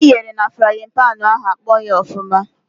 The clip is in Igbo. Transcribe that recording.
Anụ i ghere na frayịn panị ahụ akpọghị ọfụma.